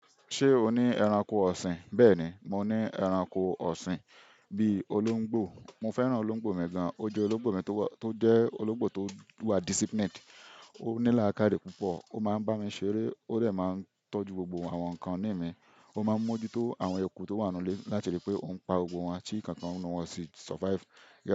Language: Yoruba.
Ṣé o ní ẹranko ọ̀sìn? Bẹ́ẹ̀ni, mo ní ẹranko ọ̀sìn bí i olóńgbò. Mo fẹ́ràn olóńgbò mi gan-an, ó jẹ́ olóńgbò mi tó jẹ́ olóńgbò tó wà disciplined. Ó ní làákàyè púpọ̀, ó máa ń bá mi ṣeré, ó dẹ̀ máa ń tọ́jú gbogbo àwọn nǹkan ìní mi. Ó máa ń mójútó àwọn eku tó wà nínú ilé láti rí i pé ó ń pa gbogbo wọn, tí ìkan kan ńnú wọn ò sì survive.